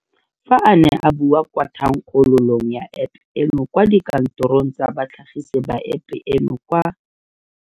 Fa a ne a bua kwa thankgololong ya App eno kwa dikantorong tsa batlhagisi ba App eno kwa.